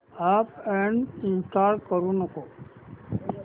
app uninstall करू नको